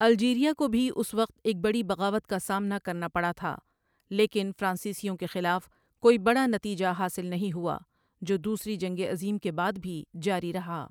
Algeria کو بھی اس وقت ایک بڑی بغاوت کا سامنا کرنا پڑا تھا لیکن فرانسیسیوں کے خلاف کوئی بڑا نتیجہ حاصل نہیں ہوا جو دوسری جنگ عظیم کے بعد بھی جاری رہا